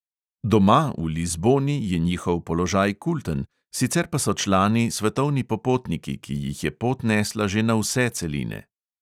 Doma, v lizboni, je njihov položaj kulten, sicer pa so člani svetovni popotniki, ki jih je pot nesla že na vse celine.